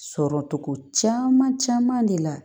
Sɔrɔcogo caman caman de la